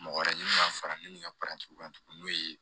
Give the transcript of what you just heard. Mɔgɔ wɛrɛ ɲini ka fara min ka kan tuguni n'o ye